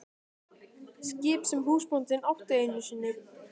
Skip sem húsbóndinn átti einu sinni.